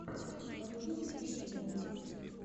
на ютюбе трисс мультик